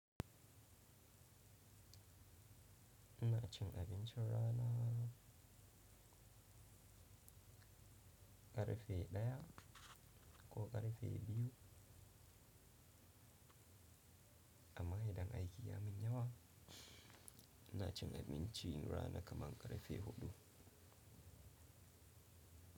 Ina cin abinci rana ƙarfe ɗaya ko ƙarfe biyu amma idan aiki ya min yawa ina cin abinci rana kaman ƙarfe huɗu.